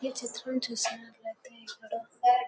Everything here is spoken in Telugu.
ఈ చిత్రమ్ చూసినట్టుయితే ఇక్కడ